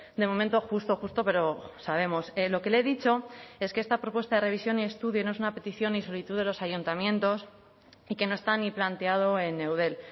de momento justo justo pero sabemos lo que le he dicho es que esta propuesta de revisión y estudio no es una petición y solitud de los ayuntamientos y que no está ni planteado en eudel